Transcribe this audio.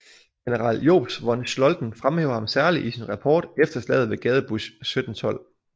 General Jobst von Scholten fremhæver ham særlig i sin rapport efter slaget ved Gadebusch 1712